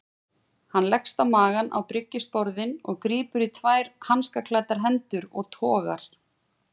Hann leggst á magann á bryggjusporðinn og grípur í tvær hanskaklæddar hendur og togar.